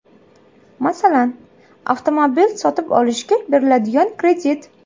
Masalan, avtomobil sotib olishga beriladigan kredit.